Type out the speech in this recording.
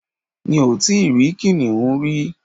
Mi ò tí rí kìnìún rí